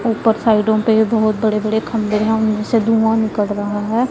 ऊपर साइडों पे बहोत बड़े बड़े खम्भे है उनमें से धुआं निकल रहा है।